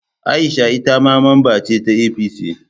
Aisha ita ma mamba ce ta APC